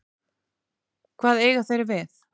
Hvað eiga þeir við?